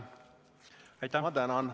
Ma tänan!